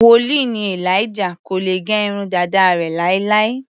Wòlíì ni Elijah, kò lè gẹ irun dàda rẹ̀ láéláé.